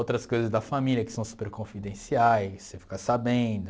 Outras coisas da família que são super confidenciais, você fica sabendo.